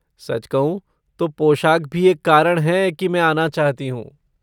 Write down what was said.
सच कहूँ तो पोशाक भी एक कारण है कि मैं आना चाहती हूँ।